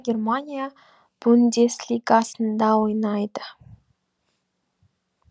германия бундес лигасында ойнайды